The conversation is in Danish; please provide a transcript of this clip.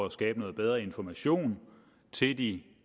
at skabe noget bedre information til de